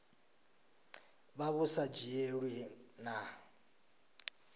vha vhu sa dzhielwi nha